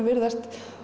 virðast